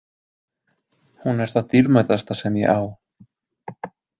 Hún er það dýrmætasta sem ég á.